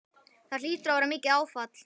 Það hlýtur að vera mikið áfall?